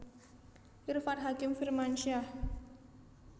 Irfan Hakim Firmansyah